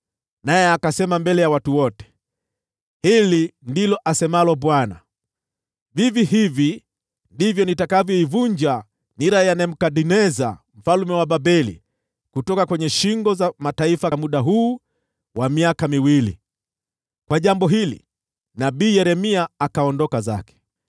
naye akasema mbele ya watu wote, “Hili ndilo asemalo Bwana : ‘Vivi hivi ndivyo nitakavyoivunja nira ya Nebukadneza mfalme wa Babeli kutoka kwenye shingo za mataifa katika muda huu wa miaka miwili.’ ” Alipofanya hivi, nabii Yeremia akaondoka zake.